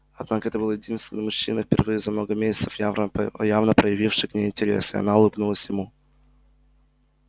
однако это был единственный мужчина впервые за много месяцев явно проявивший к ней интерес и она улыбнулась ему